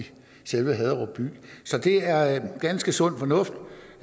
selve haderup by så det er ganske sund fornuft